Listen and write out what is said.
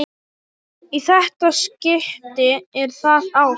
Í þetta skipti er það ást.